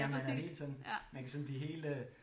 Ja man er helt sådan man kan sådan blive helt øh